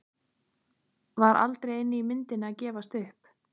Var aldrei inni í myndinni að gefast upp?